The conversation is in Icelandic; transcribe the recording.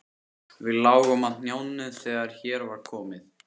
Við lágum á hnjánum þegar hér var komið.